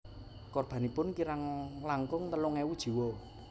Korbanipun kirang langkung telung ewu jiwa